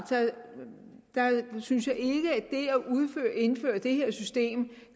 synes jeg at indføre det her system